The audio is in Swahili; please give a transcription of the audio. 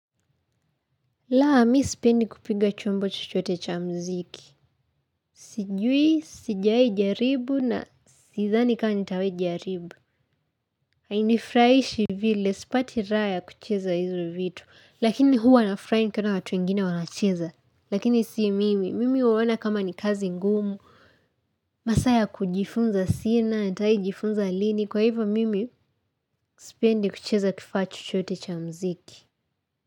Laa, mimi sipendi kupiga chombo chochote cha mziki. Sijui, sijawahi jaribu na sidhani kama nitawahi jaribu. Hainifurahishi vile, sipati raha ya kucheza hizo vitu. Lakini huwa nafurahi nikiona watu wengine wanacheza. Lakini sii mimi, mimi uona kama ni kazi ngumu. Masaa ya kujifunza sina, natawahi jifunza lini. Kwa hivyo mimi, sipendi kucheza kifaa chochote cha mziki.